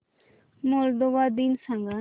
Moldova दिन सांगा